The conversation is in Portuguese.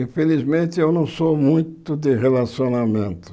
Infelizmente, eu não sou muito de relacionamento.